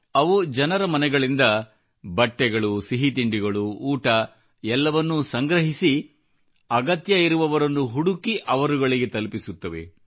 ಅವು ಜನರ ಮನೆಗಳಿಂದ ಬಟ್ಟೆಗಳು ಸಿಹಿತಿಂಡಿಗಳು ಊಟ ಎಲ್ಲವನ್ನೂ ಸಂಗ್ರಹಿಸಿ ಅಗತ್ಯ ಇರುವವರನ್ನು ಹುಡುಕಿ ಅವರುಗಳಿಗೆ ತಲುಪಿಸುತ್ತವೆ